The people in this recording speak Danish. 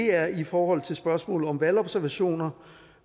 er i forhold til spørgsmålet om valgobservationer